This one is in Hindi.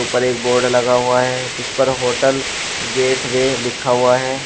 ऊपर एक बोर्ड लगा हुआ है जिस पर होटल गेटवे लिखा हुआ है।